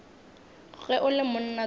ge o le monna tsoša